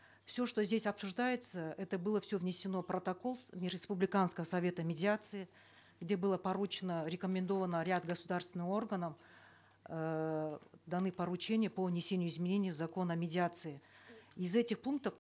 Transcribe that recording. все что здесь обсуждается это было все внесено в протокол республиканского совета медиации где было поручено рекомендовано ряд государственным органам эээ даны поручения по внесению изменений в закон о медиации из этих пунктов